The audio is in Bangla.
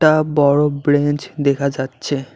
আ বড় ব্রেঞ্চ দেখা যাচ্ছে।